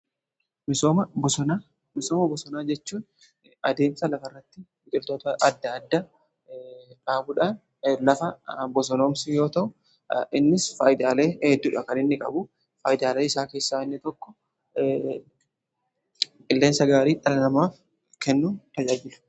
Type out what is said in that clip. misooma bosonaa jechuun adeemsa lafa irratti biqiltoota adda addaa dhaabuudhaan lafa bosonoomsu yoo ta'u innis faayidaalee heddudha kan inni qabu. faayidaalee isaa keessaa inni tokko qilleensa gaarii dhala namaaf kennuuf tajaajiludha.